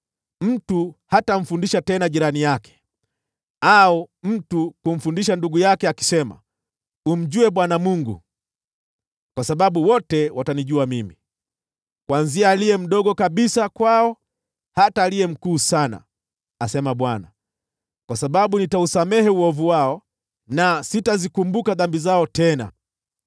Mtu hatamfundisha tena jirani yake, wala mtu kumfundisha ndugu yake akisema, ‘Mjue Bwana Mungu,’ kwa sababu wote watanijua mimi, tangu aliye mdogo kabisa kwao, hadi aliye mkuu sana,” asema Bwana . “Kwa sababu nitasamehe uovu wao, wala sitazikumbuka dhambi zao tena.”